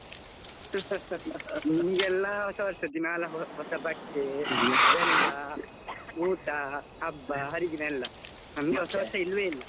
ನಿಮಗೆ ಎಲ್ಲ ಹೊಸ ವರ್ಷ ದಿನಾಲು ಹೊಸ ಬಟ್ಟೆ ಬೆಲ್ಲಾ ಊಟ ಹಬ್ಬ ಹರಿದಿನ ಎಲ್ಲ, ನಮಗೆ ಹೊಸ ವರ್ಷ ಇಲ್ಲವೇ ಇಲ್ಲ.